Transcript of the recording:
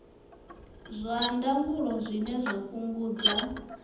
zwa ndangulo zwine zwa fhungudza